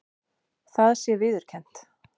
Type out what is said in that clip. Það sé viðurkennt